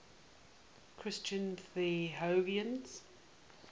christian theologians